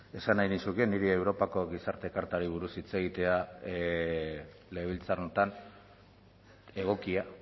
esan nahi nizuke niri europako gizarte kartari buruz hitz egitea legebiltzar honetan egokia